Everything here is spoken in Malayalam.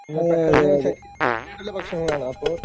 പെട്ടെന്ന് ശരീരത്തിന് കേടുള്ള ഭക്ഷണങ്ങളാണ്. അപ്പോ .